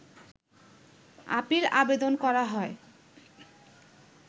appeal আবেদন করা হয়